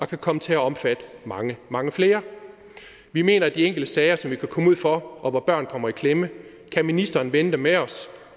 kan komme til at omfatte mange mange flere vi mener at de enkelte sager som vi kan komme ud for hvor børn kommer i klemme kan ministeren vende med os